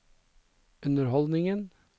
underholdningen